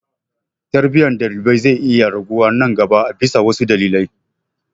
Tarbiyyar ɗalibai zai iya raguwa nan gaba a bisa wasu dalilai.